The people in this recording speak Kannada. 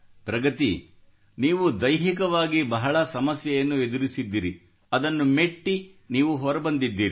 ಪ್ರಗತಿ ನೀವು ದೈಹಿಕವಾಗಿ ಬಹಳ ಸಮಸ್ಯೆಯನ್ನು ಎದುರಿದ್ದಿರಿ ಅದನ್ನು ಮೆಟ್ಟಿ ನೀವು ಹೊರಬಂದಿದ್ದೀರಿ